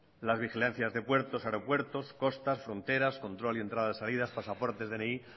las vigilancias de puertos aeropuertos costas fronteras control de entradas y salidas pasaportes dni